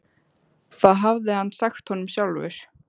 Það hafði hann sagt honum sjálfur.